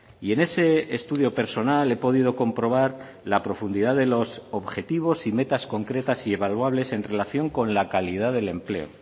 y en ese estudio personal he podido comprobar la profundidad de los objetivos y metas concretas y evaluables en relación con la calidad del empleo